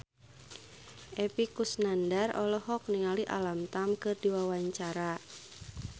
Epy Kusnandar olohok ningali Alam Tam keur diwawancara